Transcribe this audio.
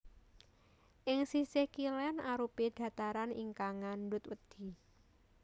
Ing sisih kilén arupi dhataran ingkang ngandhut wedhi